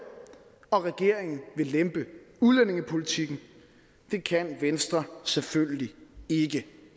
og regeringen vil lempe udlændingepolitikken det kan venstre selvfølgelig ikke